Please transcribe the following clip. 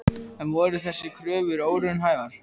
En voru þessar kröfur óraunhæfar?